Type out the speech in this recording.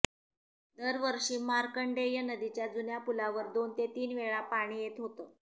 दरवषी मार्कंडेय नदीच्या जुन्या पुलावर दोन ते तीन वेळा पाणी येत होते